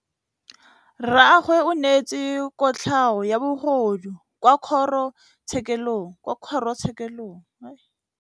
Rragwe o neetswe kotlhaô ya bogodu kwa kgoro tshêkêlông.